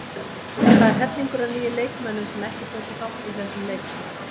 Það er hellingur af nýjum leikmönnum sem tóku ekki þátt í þessum leikjum.